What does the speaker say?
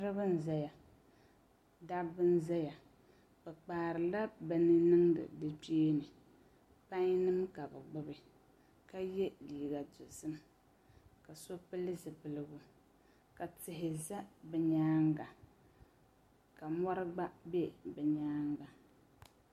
Dabba n ʒɛya bi kpaarila bin niŋdi di kpeeni pai nim ka bi gbubi ka yɛ liiga dozim ka so pili zipiligu ka tihi ʒɛ bi nyaanga ka mori gba bɛ bi nyaanga